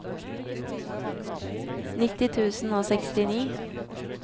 nitti tusen og sekstini